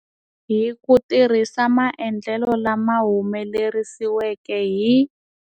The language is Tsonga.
Hi ku tirhisa maendlelo lama humelerisiweke hi.